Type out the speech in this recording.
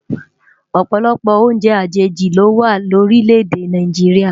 Òpòlòpò óùnjè ajéji lówá lórilè-èdè Náijiriá